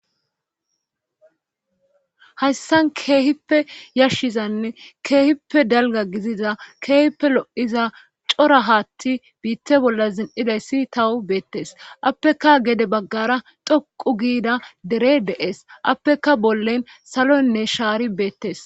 hayssan keehippe yashshizanne keehippe dalga giziza keehippe lo7iza cora haatti biitte bolla zin7idayssi tawu beettes appeka gede baggara dhoqu giida dere de7es appeka bollen saloynne shaari beettes